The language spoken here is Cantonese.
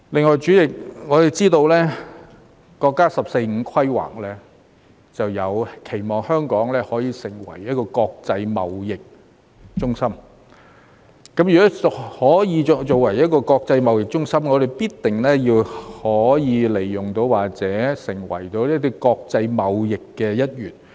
代理主席，此外，我們知道國家"十四五"規劃，期望香港可以成為一個國際貿易中心，如果香港可以成為國際貿易中心，我們必定可以利用或成為國際貿易社群的一員。